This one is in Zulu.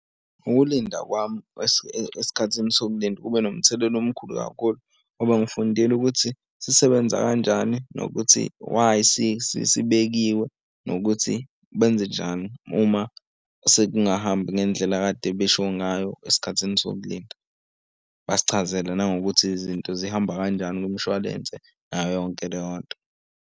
Ukulinda kwami esikhathini sokulinda kube nomthelela omkhulu kakhulu ngoba ngifundile ukuthi sisebenza kanjani nokuthi why sibekiwe nokuthi benza njani uma sekungahambi ngendlela ekade besho ngayo esikhathini sokulinda. Basichazele nangokuthi izinto zihamba kanjani kumshwalense nayo yonke leyo nto.